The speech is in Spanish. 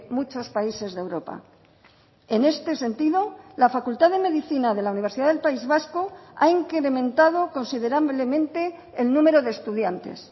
muchos países de europa en este sentido la facultad de medicina de la universidad del país vasco ha incrementado considerablemente el número de estudiantes